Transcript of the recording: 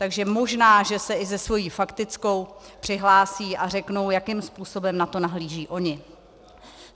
Takže možná, že se i se svou faktickou přihlásí a řeknou, jakým způsobem na to nahlížejí oni.